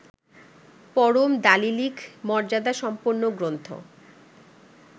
পরম দালিলিক মর্যাদাসম্পন্ন গ্রন্থ